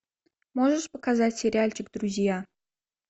можешь показать сериальчик друзья